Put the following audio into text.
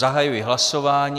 Zahajuji hlasování.